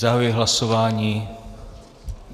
Zahajuji hlasování.